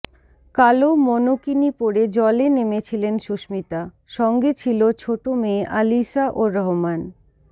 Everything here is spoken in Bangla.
কালো মনোকিনি পরে জলে নেমেছিলেন সুস্মিতা সঙ্গে ছিল ছোট মেয়ে আলিশা ও রোহমান